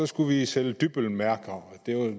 skulle vi sælge dybbølmærker